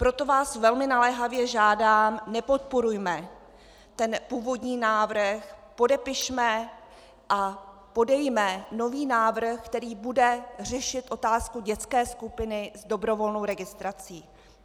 Proto vás velmi naléhavě žádám, nepodporujme ten původní návrh, podepišme a podejme nový návrh, který bude řešit otázku dětské skupiny s dobrovolnou registrací.